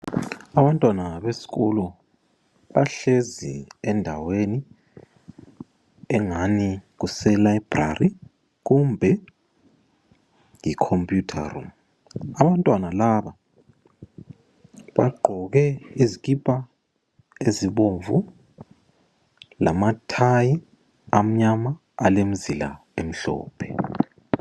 Abantwana besikolo bahlezi endaweni engani kuse library kumbe I computer room , Abantwana laba bagqoke izikipa ezibomvu lama thayi amnyama alemizila emhlophe